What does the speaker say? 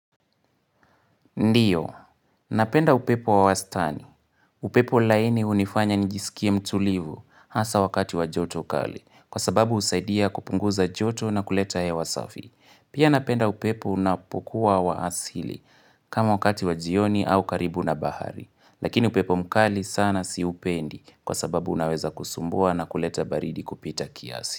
Ndiyo. Napenda upepo wa wastani. Upepo laini hunifanya njisikie mtulivu hasa wakati wajoto kali. Kwa sababu usaidia kupunguza joto na kuleta hewa safi. Pia napenda upepo unapokuwa wa asili kama wakati wajioni au karibu na bahari. Lakini upepo mkali sana siupendi kwa sababu unaweza kusumbua na kuleta baridi kupita kiasi.